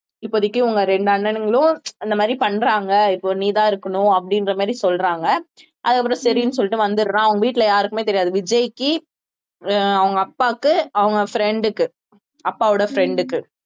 இப்போதைக்கு உங்க ரெண்டு அண்ணனுங்களும் இந்த மாதிரி பண்றாங்க இப்போ நீ தான் இருக்கணும் அப்படின்ற மாதிரி சொல்றாங்க அதுக்கப்புறம் சரின்னு சொல்லிட்டு வந்துடுறான் அவங்க வீட்டுல யாருக்குமே தெரியாது விஜய்க்கு அஹ் அவங்க அப்பாவுக்கு அவங்க friend க்கு அப்பாவோட friend க்கு